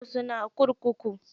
Ya sunan kurkukun?